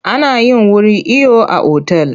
A nayin wuri iyo a otal.